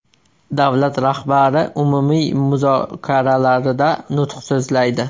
Davlat rahbari umumiy muzokaralarida nutq so‘zlaydi.